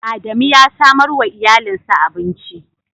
Adamu ya samar wa iyalinsa abinci.